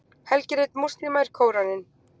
Helgirit múslíma er Kóraninn.